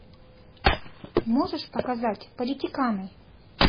можешь показать политиканы